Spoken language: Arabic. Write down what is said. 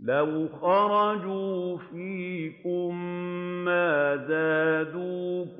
لَوْ خَرَجُوا فِيكُم مَّا زَادُوكُمْ